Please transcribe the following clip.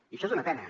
i això és una pena